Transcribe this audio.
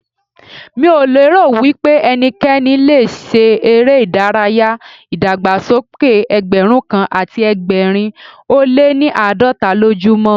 Mi ò lérò wípé ẹnikẹ́ni le ṣe eré ìdárayá ìdàgbàsókè Ẹgbẹ̀rún kan àti ẹgbẹ̀rin ó lé ní àádọ́ta lójú mọ́.